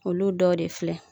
Olu dɔ de filɛ.